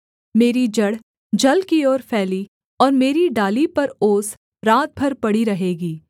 मेरी जड़ जल की ओर फैली और मेरी डाली पर ओस रात भर पड़ी रहेगी